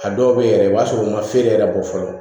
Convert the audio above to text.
A dɔw bɛ yɛrɛ i b'a sɔrɔ u ma feere yɛrɛ bɔ fɔlɔ